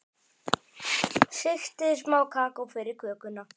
Sigtið smá kakó yfir kökuna.